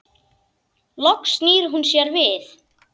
Loks snýr hún sér við.